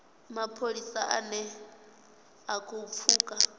mapholisa ane a khou pfuka